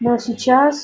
но сейчас